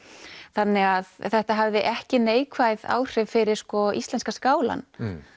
þannig að þetta hafði ekki neikvæð áhrif fyrir íslenska skálann